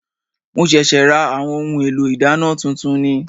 Mo ṣẹ̀ṣẹ̀ ra àwọn ohun èlò ìdáná tuntun ni